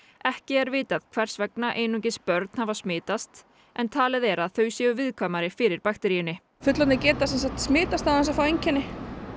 ekki er vitað hvers vegna einungis börn hafa smitast en talið er að þau séu viðkvæmari fyrir bakteríunni fullorðnir geta smitast án þess að fá einkenni